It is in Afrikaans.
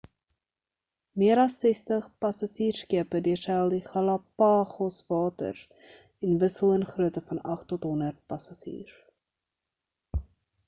meer as 60 passasierskepe deurseil die galapagos waters en wissel in groote van 8 tot 100 passasiers